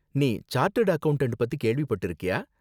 நீ chartered accountant பத்தி கேள்விப்பட்டிருக்கியா?